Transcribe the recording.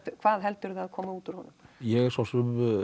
hvað heldurðu að komi út úr honum ég hef svo sem